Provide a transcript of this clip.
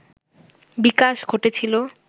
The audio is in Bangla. বিকাশ ঘটেছিল